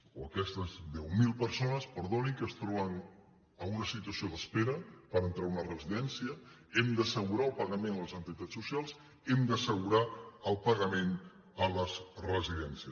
o aquestes deu mil persones perdoni que es troben en una situació d’espera per entrar en una residència hem d’assegurar el pagament a les entitats socials hem d’assegurar el pagament a les residències